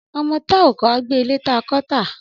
Ọmọ ti à ò kọ à gbẹ ìlẹ tà kọ tà.